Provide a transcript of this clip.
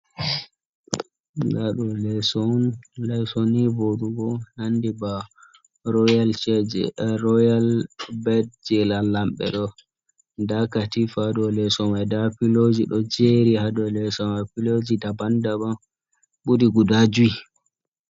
Nda ɗo leso ni voɗugo. Nandi ba royal bed, jei lamlamɓe. Ɗon da katifa haa dou leso mai. Ndaa piloji ɗo jeri haa dou leso mai. Piloji daban-daban ɓuri guda jui.